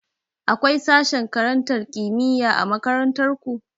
Akwai sashen karantar kimiyya a makarantar ku?